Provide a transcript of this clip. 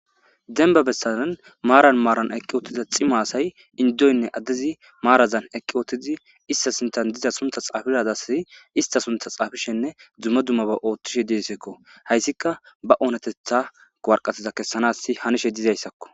Demba bessanan maaran maaran eqqi uttiza cima asay indoynne addezi maarazan eqqi ootizi issta sinthan diza sunta xaafidagasi ista suntha xaafishenne dumma dummaba ooththishe deesikko. Hayssika ba oonatetha woraqatiza kessanas hanishe diza issakko.